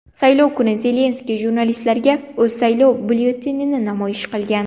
Saylov kuni Zelenskiy jurnalistlarga o‘z saylov byulletenini namoyish qilgan.